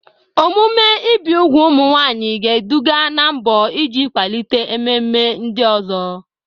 Omume ibi úgwù ụmụ nwanyị ga-eduga ná mbọ iji kwalite ememe ndị ọzọ.